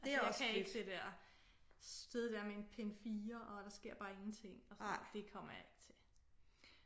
Altså jeg kan ikke det der sidde der med en pind 4 og der sker bare ingenting det kommer jeg ikke til